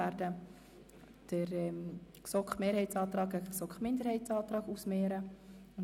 Wir werden zuerst den GSoK-Mehrheitsantrag dem GSoKMinderheitsantrag II/ Schlup gegenüberstellen.